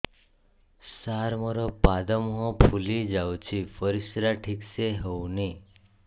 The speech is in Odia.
ସାର ମୋରୋ ପାଦ ମୁହଁ ଫୁଲିଯାଉଛି ପରିଶ୍ରା ଠିକ ସେ ହଉନି